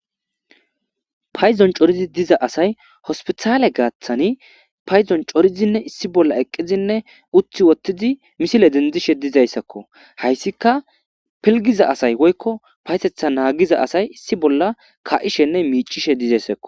payzon coridi diza asay hospitaale gaaththani payzon corizinne issi bolla eqqizinne uthi wottidi misile dendishe dizayssakko hayssika pilgiza asay woykko paysetha naagiza asay issi bolla ka7ishenne miicishe dizayssakko